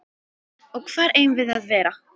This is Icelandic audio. Og hvar eigum við að vera?